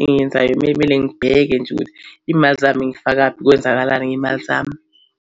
engiyenzayo kumele kumele ngibheke nje ukuthi imali zami ngiyifakaphi, kwenzakalani ngezimali zami.